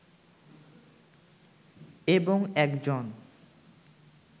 এবং একজন